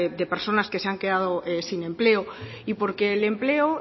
de personas que se han quedado sin empleo y porque el empleo